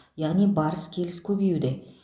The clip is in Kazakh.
яғни барыс келіс көбеюде